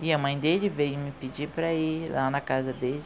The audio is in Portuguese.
e a mãe dele veio me pedir para ir lá na casa dele.